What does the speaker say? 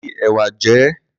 Fi ẹ̀wà jẹ ẹ́.